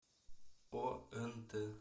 онт